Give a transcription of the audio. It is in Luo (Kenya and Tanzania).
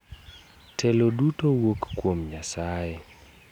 Telo duto wuok kuom Nyasaye.